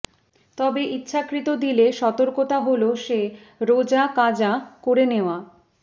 তবে ইচ্ছাকৃত দিলে সতর্কতা হলো সে রোযা কাযা করে নেওয়া